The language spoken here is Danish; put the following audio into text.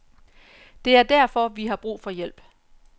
Det er derfor, vi har brug for hjælp.